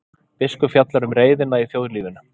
Biskup fjallar um reiðina í þjóðlífinu